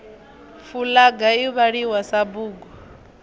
fulaga i vhaliwa sa bugu